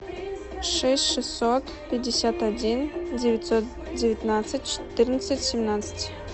шесть шестьсот пятьдесят один девятьсот девятнадцать четырнадцать семнадцать